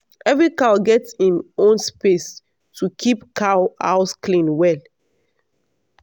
every cow get im own space to keep cow house clean well.